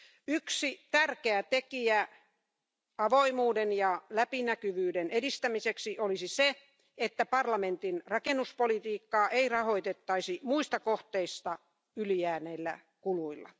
Yksi tärkeä tekijä avoimuuden ja läpinäkyvyyden edistämiseksi olisi se, että parlamentin rakennuspolitiikkaa ei rahoitettaisi muista kohteista yli jääneillä kuluilla.